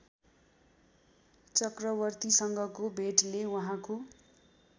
चक्रवर्तीसँगको भेटले उहाँको